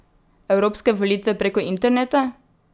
Evropske volitve preko interneta?